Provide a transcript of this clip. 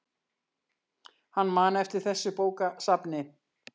Hann man eftir þessu bókasafni.